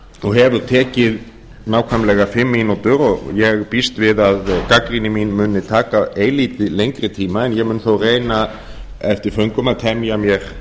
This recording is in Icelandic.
og hefur tekið nákvæmlega fimm mínútur og ég býst við að gagnrýni mín muni taka eilítið lengri tíma en ég mun þó reyna eftir föngum að temja mér